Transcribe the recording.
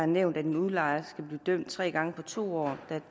nævnt at en udlejer skal blive dømt tre gange på to år